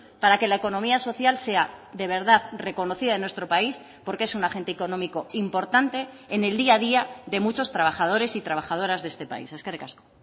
para que la economía social sea de verdad reconocida en nuestro país porque es un agente económico importante en el día a día de muchos trabajadores y trabajadoras de este país eskerrik asko